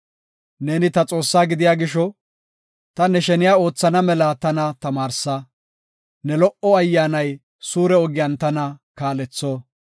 Neeni ta Xoossaa gidiya gisho, ta ne sheniya oothana mela tana tamaarsa; ne lo77o ayyaanay suure ogiyan tana kaaletho.